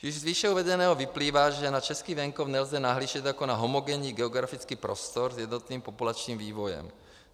Již z výše uvedeného vyplývá, že na český venkov nelze nahlížet jako na homogenní geografický prostor s jednotným populačním vývojem.